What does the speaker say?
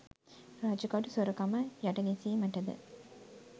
රජකඩු සොරකම යටගැසීමටද?